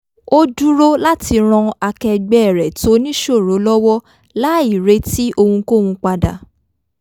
ó dúró láti ran akẹgbẹ́ rẹ̀ tó níṣòro lọ́wọ́ láì retí rẹ̀ ohunkóhun padà